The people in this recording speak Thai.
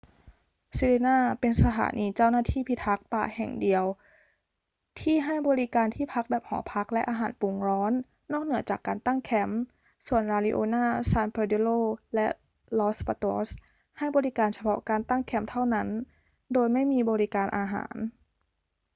sirena เป็นสถานีเจ้าหน้าที่พิทักษ์ป่าเพียงแห่งเดียวที่ให้บริการที่พักแบบหอพักและอาหารปรุงร้อนนอกเหนือจากการตั้งแคมป์ ส่วน la leona san pedrillo และ los patos ให้บริการเฉพาะการตั้งแคมป์เท่านั้นโดยไม่มีบริการอาหาร